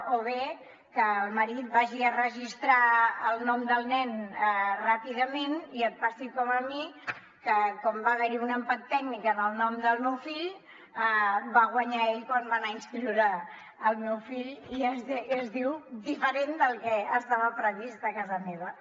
o bé que el marit vagi a registrar el nom del nen ràpidament i et passi com a mi que com va haver hi un empat tècnic en el nom del meu fill va guanyar ell quan va anar a inscriure el meu fill i es diu diferent del que estava previst a casa meva